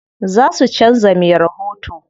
Za su canza me rahoto.